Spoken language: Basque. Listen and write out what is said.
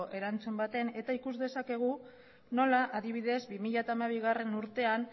erantzun baten eta ikus dezakegu nola adibidez bi mila hamabigarrena urtean